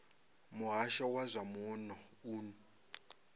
muhasho wa zwa muno u